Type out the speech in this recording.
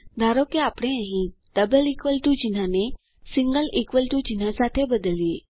ધારો કે આપણે અહીં ડબલ ઇકવલ ટુ ચિહ્નને સિંગલ ઇકવલ ટુ ચિહ્ન સાથે બદલીએ